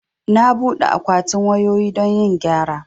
Na buɗe akwatin wayoyi don yin gyara